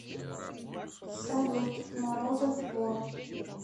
салют морозов вор